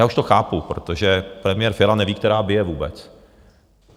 já už to chápu, protože premiér Fiala neví, která bije vůbec.